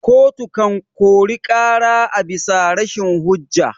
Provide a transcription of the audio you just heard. Koto kan kori ƙara abisa rashin hujja.